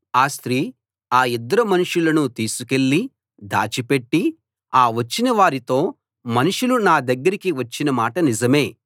ఆ స్త్రీ ఆ ఇద్దరు మనుషులను తీసుకెళ్ళి దాచిపెట్టి ఆ వచ్చిన వారితో మనుషులు నా దగ్గరికి వచ్చిన మాట నిజమే